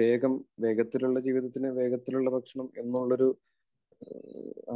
വേഗം, വേഗത്തിലുള്ള ജീവിതത്തിന് വേഗത്തിലുള്ള ഭക്ഷണം എന്നുള്ള ഒരു